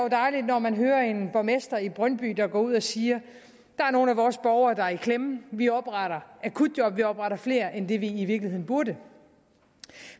dejligt når man hører en borgmester i brøndby der går ud og siger der er nogle af vores borgere der er i klemme vi opretter akutjob vi opretter flere end det antal vi i virkeligheden burde